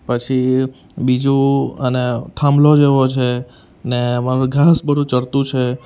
પછી બીજું અને થાંભલો જેવો છે ને ઘાંસ બધુ ચરતું છે.